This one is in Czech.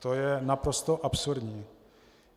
To je naprosto absurdní.